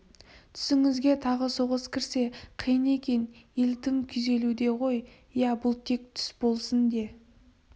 түсіңізге тағы соғыс кірсе қиын екен ел тым күйзелуде ғой иә бұл тек түс болсын де